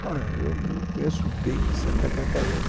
Olha, eu não conheço bem Santa Catarina.